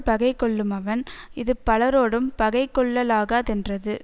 பகை கொள்ளுமவன் இது பலரோடும் பகை கொள்ளலாகா தென்றது